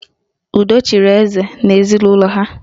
Udo chịrị eze n'ezinụlọ ha